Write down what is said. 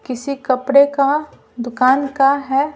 किसी कपड़े का दुकान का है।